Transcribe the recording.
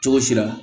Cogo si la